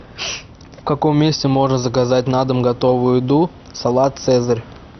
в каком месте можно заказать на дом готовую еду салат цезарь